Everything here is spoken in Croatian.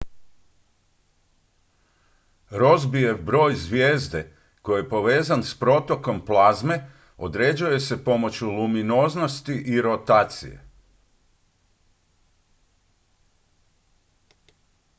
rossbyjev broj zvijezde koji je povezan s protokom plazme određuje se pomoću luminoznosti i rotacije